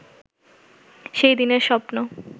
সেই দিনের স্বপ্ন